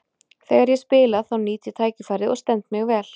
Þegar ég spila þá nýt ég tækifærið og stend mig vel.